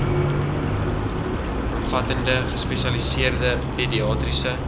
omvattende gespesialiseerde pediatriese